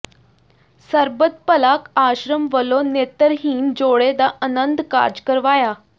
ਸਰਬੱਤ ਭਲਾ ਆਸ਼ਰਮ ਵਲੋਂ ਨੇਤਰਹੀਣ ਜੋੜੇ ਦਾ ਅਨੰਦ ਕਾਰਜ ਕਰਵਾਇਆ